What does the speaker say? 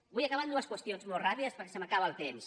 vull acabar amb dues qüestions molt ràpides perquè se m’acaba el temps